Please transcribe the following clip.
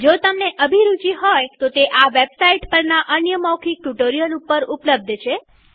જો તમને અભિરુચિ હોય તોતે વેબસાઈટ httpspoken tutorialorg પરના અન્ય મૌખિક ટ્યુ્ટોરીઅલ ઉપર ઉપલબ્ધ છે